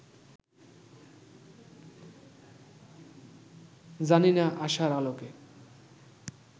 জানি না-আশার আলোকে